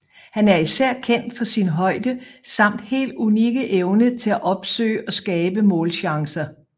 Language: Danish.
Han er især kendt for sin højde samt helt unikke evne til at opsøge og skabe målchancer